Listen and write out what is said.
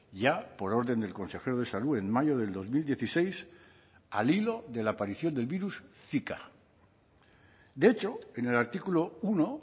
ya por orden del consejero de salud en mayo del dos mil dieciséis al hilo de la aparición del virus zika de hecho en el artículo uno